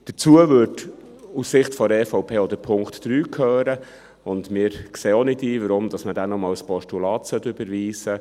Dazu würde, aus Sicht der EVP, auch Punkt 3 gehören, und wir sehen auch nicht ein, weshalb man diesen nur als Postulat überweisen sollte.